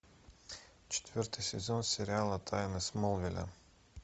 четвертый сезон сериала тайны смолвиля